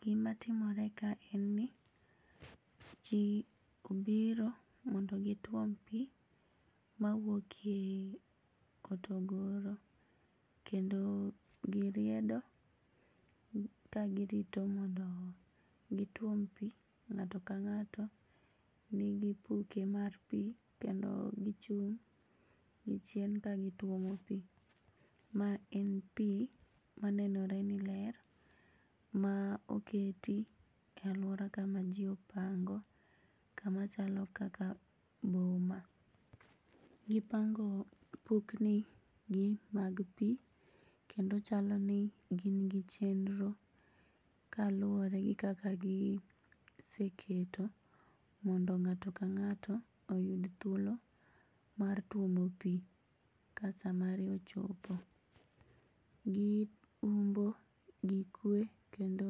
Gimatimore ka en ni jii obiro mondo gituom pii mawuokie ei kotogoro kendo giriedo ka girito mondo gituom pii.Ng'ato ka ng'ato nigi kupe mar pii kendo gichung' gichien ka gituomo pii. Ma en pii manenore ni ler ma oketi e aluora kama jii opango kama chalo kaka boma .Gipango kupnigi mag pii kendo chaloni gingi chenro kaluore gi kaka giseketo mondo ng'ato ka ng'ato oyud thuolo mar tuomo pii ka saa mari ochopo. Giumbo gi kue kendo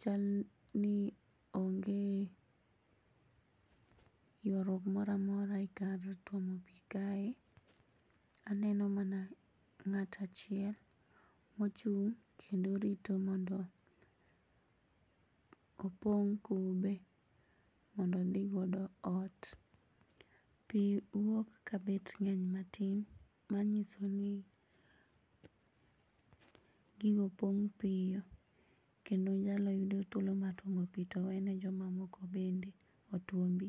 chalni onge yuaruok moramora e kar tumo pii kae, aneno mana ng'ato achiel mochung' kendo rito mondo opong' kube mondo odhigodo ot. Pii wuok ka bet ng'eny matin manyisoni gigopong' piyo kendo nyalo yudo thuolo mar tuomo pii towene jomamoko bende otuombi.